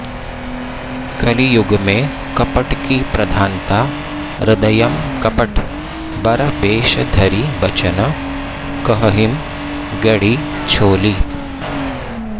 कलियुगमें कपटकी प्रधानता हृदयँ कपट बर बेष धरि बचन कहहिं गढ़ि छोलि